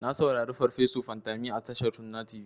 Na saurari farfeso Fantami a tashar sunna tv.